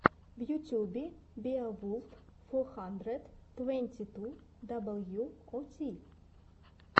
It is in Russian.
в ютюбе беовулф фо хандрэд твэнти ту дабл ю о ти